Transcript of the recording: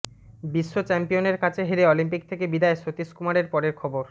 বিশ্বচ্যাম্পিয়নের কাছে হেরে অলিম্পিক থেকে বিদায় সতীশ কুমারের পরের খবর